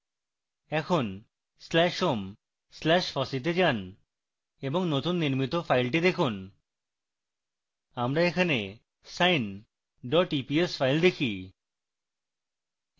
এখন slash home slash fossee তে যান এবং নতুন নির্মিত file দেখুন আমরা এখানে sine eps file দেখি